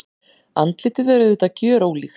Andlitið er auðvitað gjörólíkt.